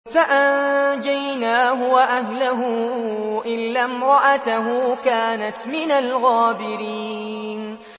فَأَنجَيْنَاهُ وَأَهْلَهُ إِلَّا امْرَأَتَهُ كَانَتْ مِنَ الْغَابِرِينَ